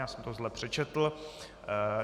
Já jsem to zle přečetl.